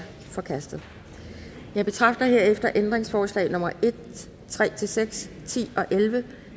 forkastet jeg betragter herefter ændringsforslag nummer en tre seks ti og elleve